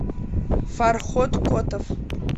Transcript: фархот котов